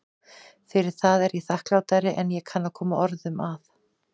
Fyrir það er ég þakklátari en ég kann að koma orðum að.